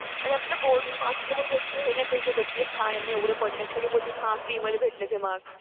आणि आपले बोर्डचे मार्क बघून हे नाही बोलू शकत कि हा यांना एवढे पडलेत. सगळे बोलतात कि फ्री मध्ये भेटलेत हे मार्क्स.